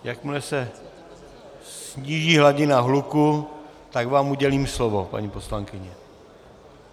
Jakmile se sníží hladina hluku, tak vám udělím slovo, paní poslankyně.